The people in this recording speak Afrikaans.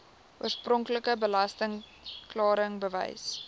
oorspronklike belasting klaringsbewys